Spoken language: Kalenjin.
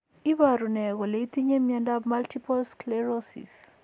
Iporu ne kole itinye miondap Multiple sclerosis?